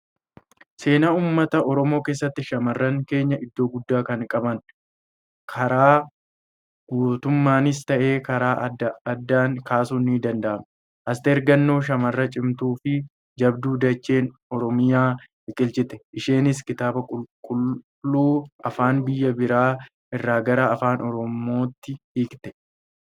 Seenaa uummata Oromoo keessatti, shamarran keenya iddoo guddaa kan qaban, karaa gootummaanis ta'ee karaalee addaa addaa kaasuun ni danda'ama. Asteer Gannoo shamarra cimtuu fi jabduu dacheen Oromiyaa biqilchite, isheenis kitaaba qulqulluu afaan biyya biraa irraa gara afaan Oromootti hiikte.